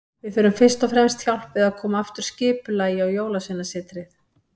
Við þurfum fyrst og fremst hjálp við að koma aftur skipulagi á Jólasveinasetrið.